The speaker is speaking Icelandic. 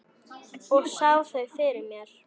Og sá þau fyrir mér.